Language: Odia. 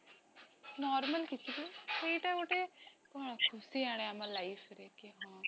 normal କିଛି ବି ସେଇଟା ଗୋଟେ କଣ ଖୁସି ଆଣେ ଆମ life ରେ କି ହଁ